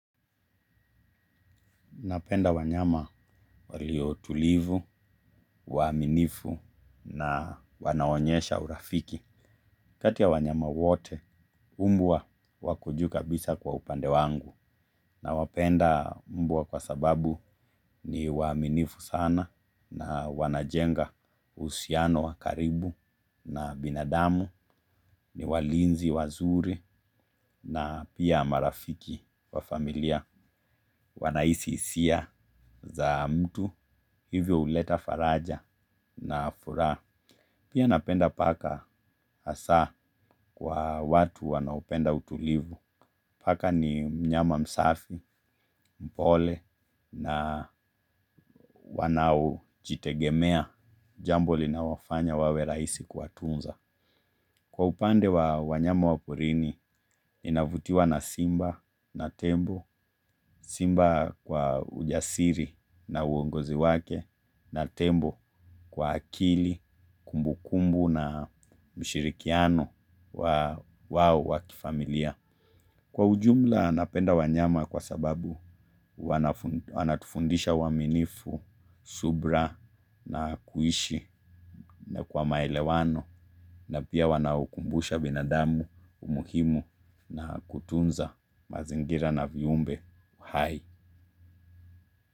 Napenda wanyama waliotulivu, waaminifu na wanaoonyesha urafiki. Katika wanyama wote, mbwa wako juu kabisa kwa upande wangu. Nawapenda mbwa kwa sababu ni waaminifu sana na wanajenga uhusiano wa karibu na binadamu. Ni walinzi, wazuri na pia marafiki wa familia, wanahisi hisia za mtu. Hivyo huleta faraja na furaha. Pia napenda paka, hasa kwa watu wanaopenda utulivu. Paka ni mnyama msafi, mpole na wanaojitegemea, jambo linalowafanya wawe rahisi kutunza. Kwa upande wa wanyama wa porini, ninavutiwa na simba na tembo: simba kwa ujasiri na uongozi wake, na tembo kwa akili, kumbukumbu na ushirikiano wa kifamilia. Kwa ujumla, napenda wanyama kwa sababu wanatufundisha uaminifu, subira na kuishi kwa maelewano, na pia wanawakumbusha binadamu umuhimu wa kutunza mazingira na viumbe.